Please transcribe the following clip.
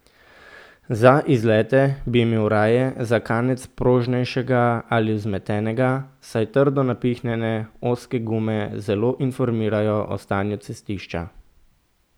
Za izlete bi imel raje za kanec prožnejšega ali vzmetenega, saj trdo napihnjene ozke gume zelo informirajo o stanju cestišča.